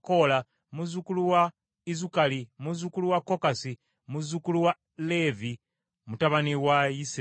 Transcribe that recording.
muzzukulu wa Izukali, muzzukulu wa Kokasi, muzzukulu wa Leevi, mutabani wa Isirayiri.